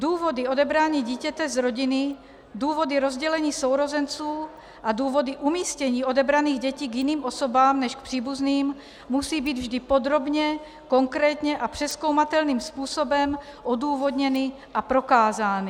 Důvody odebrání dítěte z rodiny, důvody rozdělení sourozenců a důvody umístění odebraných dětí k jiným osobám než k příbuzným musí být vždy podrobně, konkrétně a přezkoumatelným způsobem odůvodněny a prokázány.